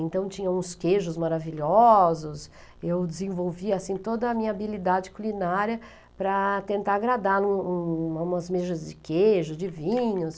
Então tinha uns queijos maravilhosos, eu desenvolvia assim toda a minha habilidade culinária para tentar agradar um um umas mesas de queijo, de vinhos.